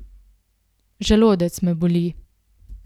Želodec me boli.